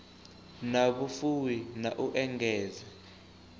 na vhufuwi na u engedza